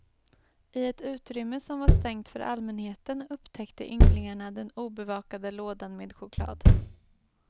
I ett utrymme som var stängt för allmänheten upptäckte ynglingarna den obevakade lådan med choklad.